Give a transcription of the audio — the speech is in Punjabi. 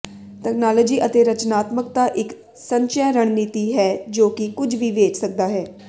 ਤਕਨਾਲੋਜੀ ਅਤੇ ਰਚਨਾਤਮਕਤਾ ਇੱਕ ਸੰਚੈ ਰਣਨੀਤੀ ਹੈ ਜੋ ਕਿ ਕੁਝ ਵੀ ਵੇਚ ਸਕਦਾ ਹੈ